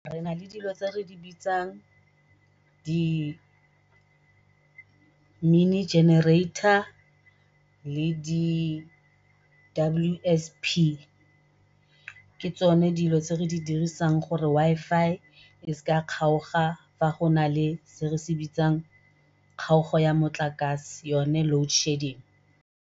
Re nale dilo tse re di bitsang di-mini generator le di W_S_P, ke tsone dilo tse re di dirisang gore Wi-Fi e seke ya kgaoga fa go nale se re se bitsang kgaogo ya motlakase yone loadshedding.